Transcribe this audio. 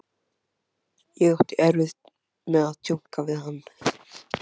Hann lagðist aftur upp í og lá lengi andvaka.